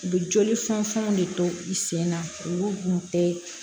U bɛ joli funanfanw de to i sen na olu kun tɛ